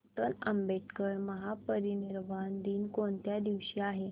doctor Ambedkar महापरिनिर्वाण दिन कोणत्या दिवशी आहे